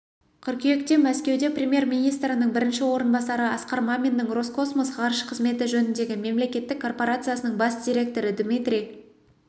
қыркүйекте мәскеуде премьер-министрінің бірінші орынбасары асқар маминнің роскосмос ғарыш қызметі жөніндегі мемлекеттік корпорациясының бас директоры дмитрий